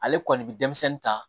Ale kɔni bɛ denmisɛnnin ta